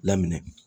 Laminɛ